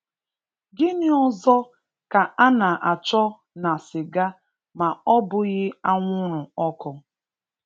Gịnị ọzọ ka a na chọ na sịga ma ọbụghị anwụrụ-ọkụ?